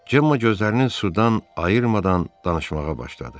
Cemma gözlərini sudan ayırmadan danışmağa başladı.